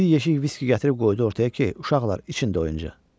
Bir yeşik viski gətirib qoydu ortaya ki, uşaqlar içində oynasın.